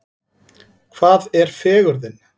Hvað er fegurðin?